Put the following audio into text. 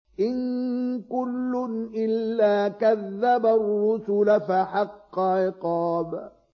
إِن كُلٌّ إِلَّا كَذَّبَ الرُّسُلَ فَحَقَّ عِقَابِ